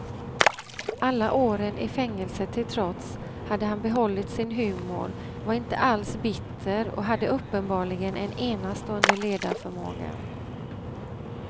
Alla åren i fängelse till trots, hade han behållit sin humor, var inte alls bitter och hade uppenbarligen en enastående ledarförmåga.